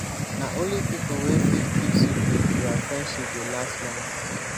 na only pipo wey fit keep secret dia friendship dey last long.